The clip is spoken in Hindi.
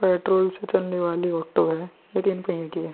पेट्रोल से चलने वाली ऑटो है ये तीन पहिये की है ।